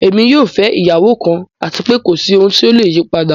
Ẹ̀mi yóò fẹ̀ iyàwọ kan àti pẹ̀ kòsí ohun tíó leyí padà.